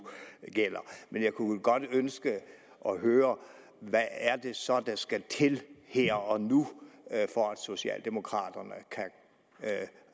men jeg kunne vel godt ønske at høre hvad det så er der skal til her og nu for at socialdemokraterne kan